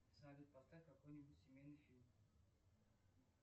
салют поставь какой нибудь семейный фильм